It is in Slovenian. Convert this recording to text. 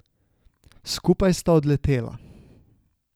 Skupaj sta odletela.